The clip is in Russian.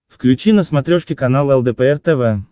включи на смотрешке канал лдпр тв